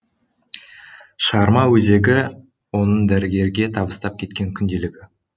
шығарма өзегі оның дәрігерге табыстап кеткен күнделігі